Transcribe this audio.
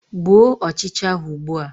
Gbuo ọchịcha ahụ ugbua!